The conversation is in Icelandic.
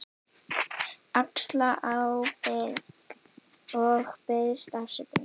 Axla ábyrgð og biðst afsökunar.